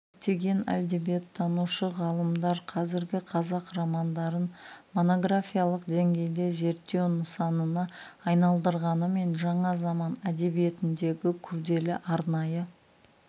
көптеген әдебиеттанушы ғалымдар қазіргі қазақ романдарын монографиялық деңгейде зерттеу нысанына айналдырғанымен жаңа заман әдебиетіндегі күрделі арнайы